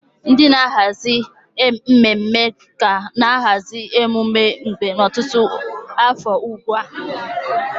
Ndị na-ahazi mmemme na-ahazi emume kemgbe ọtụtụ afọ ugbu a.